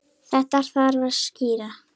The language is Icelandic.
Þetta þarf að skýra.